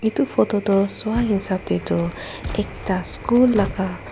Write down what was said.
etu photo toh sua hisab teh tu ekta school laga--